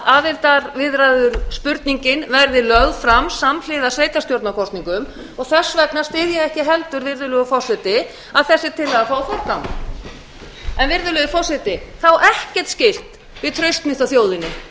að aðildarviðræðuspurningin verði lögð fram samhliða sveitarstjórnarkosningum þess vegna styð ég ekki heldur virðulegur forseti að þessi tillaga fái forgang virðulegi forseti það á ekkert skylt við traust mitt á þjóðinni